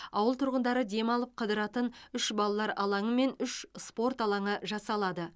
ауыл тұрғындары демалып қыдыратын үш балалар алаңы мен үш спорт алаңы жасалады